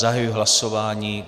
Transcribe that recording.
Zahajuji hlasování.